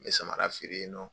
N bɛ samara feere yen